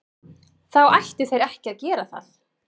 Þá ættu þeir ekki að gera það.